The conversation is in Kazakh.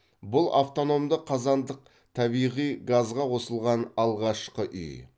бұл автономды қазандық табиғи газға қосылған алғашқы үй